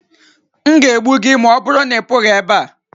N ga egbu gi, ma ọbụrụ na-I pughi ebea.